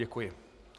Děkuji.